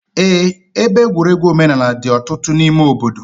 Eé, ebe egwuregwu omenaala dị ọtụtụ n'ime obodo.